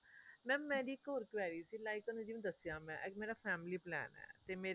mam ਮੇਰੀ ਇੱਕ ਹੋਰ query ਸੀ like ਤੁਹਾਨੂੰ ਜਿਵੇਂ ਦੱਸਿਆ ਮੈਂ ਇਹ ਮੇਰਾ family plan ਹੈ ਤੇ ਮੇਰੇ